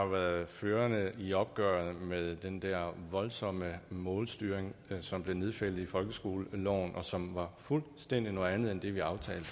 været førende i opgøret med den der voldsomme målstyring som blev nedfældet i folkeskoleloven og som var fuldstændig noget andet end det vi aftalte